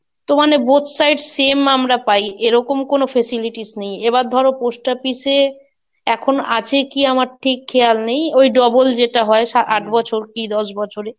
তো মানে Both side same আমরা পাই. এরকম কোন Facilities নেই, এবার ধরো post office এ, এখন আছে কি আমার ঠিক খেয়াল নেই. ওই double যেটা হয় সা~ আট বছর, কি দশ বছরে,